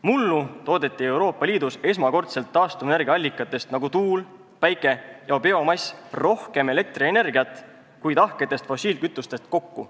Mullu toodeti Euroopa Liidus esmakordselt taastuva energia allikatest, nagu tuul, päike ja biomass, rohkem elektrienergiat kui tahketest fossiilkütustest kokku.